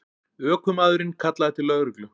Ökumaðurinn kallaði til lögreglu